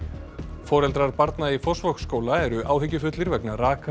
foreldrar barna í Fossvogsskóla eru áhyggjufullir vegna raka